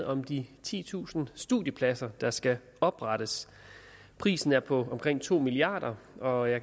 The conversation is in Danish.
om de titusind studiepladser der skal oprettes prisen er på omkring to milliard kr